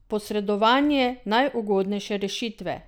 Posredovanje najugodnejše rešitve!